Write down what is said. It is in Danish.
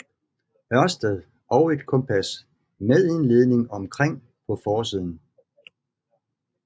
Ørsted og et kompas med en ledning omkring på forsiden